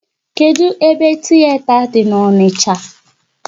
Kedụ ebe tiyeta dị n'Onicha?